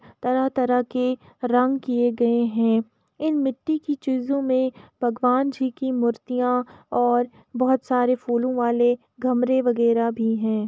तरह-तरह के रंग किए गए है इन मिट्टी की चीजो में भगवान जी की मूर्तियां और बहोत सारे फूलों वाले गमले वगैरह भी है।